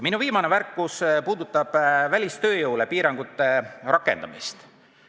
Minu viimane märkus puudutab välistööjõule piirangute rakendamist.